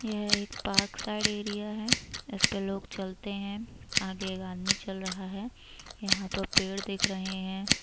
यह एक parkside area है। इसपे लोग चलते हैं । आगे एक आदमी चल रहा है । यहाँ पर पेड़ दिख रहे हैं।